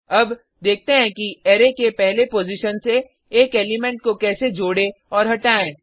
अब देखते हैं कि अरै के पहले पॉजिशन से एक एलिमेंट को कैसे जोड़े और हटाएँ